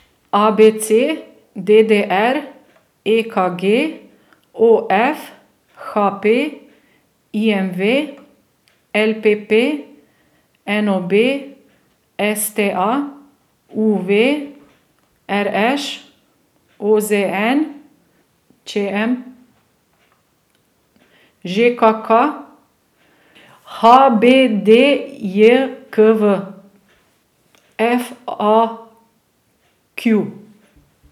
A B C; D D R; E K G; O F; H P; I M V; L P P; N O B; S T A; U V; R Š; O Z N; Č M; Ž K K; H B D J K V; F A Q.